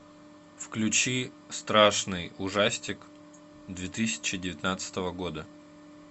включи страшный ужастик две тысячи девятнадцатого года